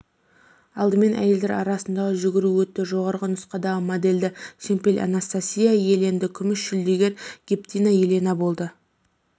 алдымен әйелдер арасындағы жүгіру өтті жоғары нұсқадағы медальді шемпель анастасия иеленді күміс жүлдегер гептина елена болды